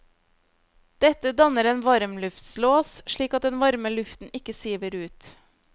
Dette danner en varmluftslås, slik at den varme luften ikke siver ut.